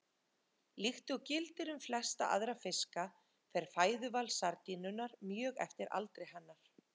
Líkt og gildir um flesta aðra fiska fer fæðuval sardínunnar mjög eftir aldri hennar.